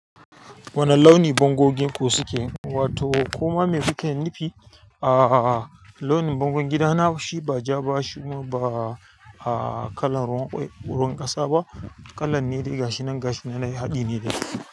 Wane launi bangogin ku suke? Wato koma me kuke nufi a launin bangon gida na, shi ba ja ba, shi kuma ba kalan ruwan ƙasa ba, kalan nedai gashi nan gashi nan na haɗi ne dai.